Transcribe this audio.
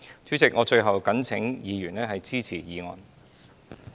主席，我最後懇請議員支持議案。